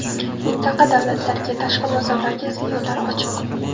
Mintaqa davlatlariga, tashqi bozorlarga esa yo‘llar ochiq.